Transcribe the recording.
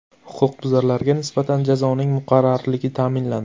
Huquqbuzarlarga nisbatan jazoning muqarrarligi ta’minlandi.